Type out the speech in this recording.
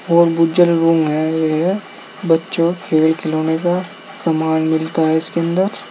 और रूम हैं ये है बच्चों खेल खिलौने का सामान मिलता है इसके अंदर।